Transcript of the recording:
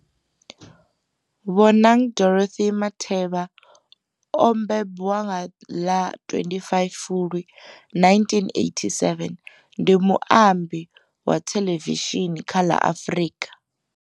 Bonang Dorothy Matheba o mbembiwa nga ḽa 25 Fulwi 1987, ndi muambi wa thelevishini kha la Afrika.